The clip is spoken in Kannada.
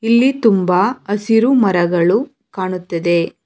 ಇಲ್ಲಿ ತುಂಬ ಹಸಿರು ಮರಗಳು ಕಾಣುತ್ತದೆ.